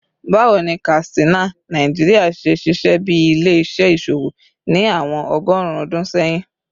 Bawo ni Katsina, Nigeria, ṣe ṣiṣẹ bi ile-iṣẹ iṣowo ni awọn ọgọrun ọdun sẹyin?